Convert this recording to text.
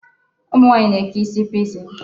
Ụmụ nwaanyị na-eke isi pixie.